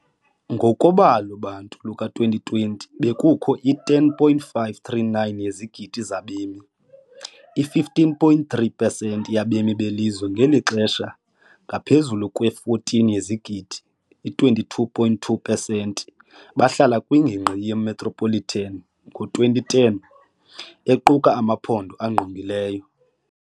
Ngokobalo-bantu luka-2020, bekukho i-10.539 yezigidi zabemi, i-15.3 pesenti yabemi belizwe, ngelixa ngaphezulu kwe-14 yezigidi, 22.2 pesenti, behlala kwingingqi ye- metropolitan ngo-2010, equka namaphondo angqongileyo.